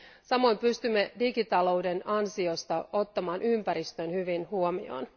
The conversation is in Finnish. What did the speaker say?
Samoin pystymme digitalouden ansiosta ottamaan ympäristön hyvin huomioon.